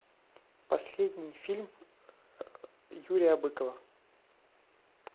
последний фильм юрия быкова